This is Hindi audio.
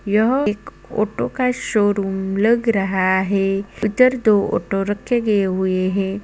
यह एक औटो का एक शोरूम लग रहा है उधर दो ऑटो रखे गए हुए हैं।